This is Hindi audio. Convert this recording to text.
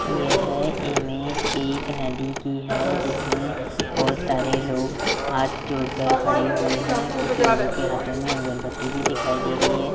यह इमेज एक नदी की है जिसमें बहोत सारे लोग हाथ जोड़कर खड़े हुए है कुछ लोगों के हाथों में अगरबत्ती भी दिखाई दे रही है।